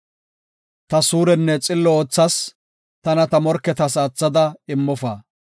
Ta suurenne xillo oothas; tana ta morketas aathada immofa.